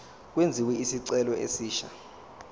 kwenziwe isicelo esisha